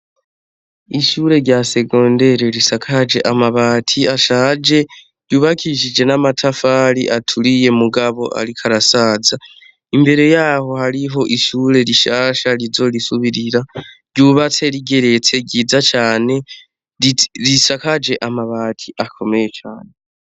Ishure rya segondere risakaje amabati ashaje ryubakishije n'amatafari aturiye mugabo, ariko arasaza imbere yaho hariho ishure rishasha rizorisubirira ryubatse rigeretse ryiza cane risakaje amabati akomeye cane.